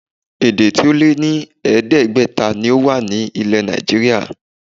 Èdè tí ó lé ní ẹ̀ẹ́dẹ́gbẹ̀ta ni ó wà ilẹ̀ Nàìjííríà